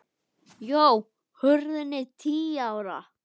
Hrunið er tíu ára.